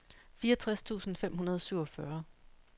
fireogtres tusind fem hundrede og syvogfyrre